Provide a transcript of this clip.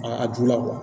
A dunna